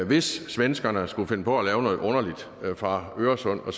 hvis svenskerne skulle finde på at lave noget underligt fra øresund og